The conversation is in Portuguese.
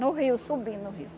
No rio, subindo o rio.